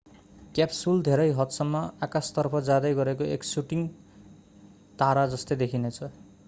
capsule धेरै हदसम्म आकाशतर्फ जाँदै गरेको एक शूटिंग तारा जस्तै देखिनेछ